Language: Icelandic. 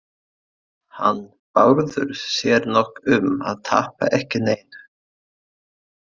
Hann Bárður sér nokk um að tapa ekki neinu.